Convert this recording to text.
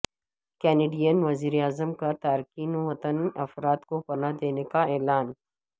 Canadian وزیر اعظم کا تارکین وطن افراد کو پناہ دینے کا اعلان